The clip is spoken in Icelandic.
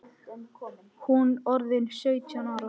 Hún orðin sautján ára.